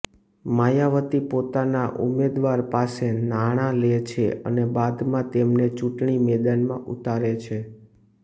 માયાવતી પોતાના ઉમેદવાર પાસે નાણા લે છે અને બાદમાં તેમને ચૂંટણી મેદાનમાં ઉતારે છે